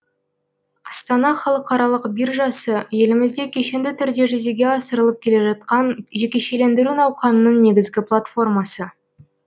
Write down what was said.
астана халықаралық биржасы елімізде кешенді түрде жүзеге асырылып келе жатқан жекешелендіру науқанының негізгі платформасы